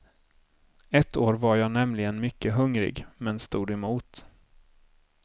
Ett år var jag nämligen mycket hungrig men stod emot.